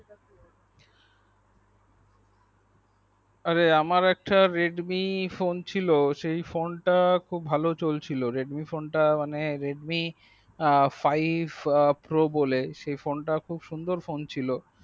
আরে আমার একটা Redmi phone ছিল সেই ফোন টা খুব ভালো চলছিল redmi ফোন টা মানে redmi five pro বলে সেই ফোন টা খুব সুন্দর ফোন ছিল।